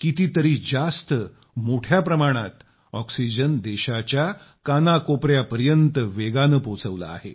कितीतरी जास्त मोठ्या प्रमाणात ऑक्सिजन देशाच्या कानाकोपयापर्यंत पोहोचवला आहे